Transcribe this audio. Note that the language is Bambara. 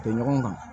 Bɛn ɲɔgɔn kan